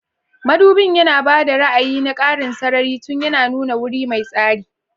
Madubin yana ba da ra'ayi na ƙarin sarari tun yana nuna wuri mai tsari.